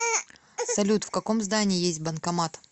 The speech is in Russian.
салют в каком здании есть банкомат